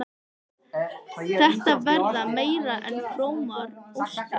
Þetta verða meira en frómar óskir.